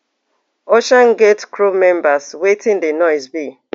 oceangate crew members wetin di noise be